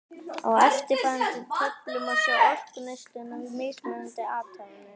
Á eftirfarandi töflu má sjá orkuneysluna við mismunandi athafnir.